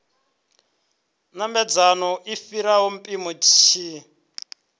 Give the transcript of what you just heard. namedzaho u fhira mpimo tshi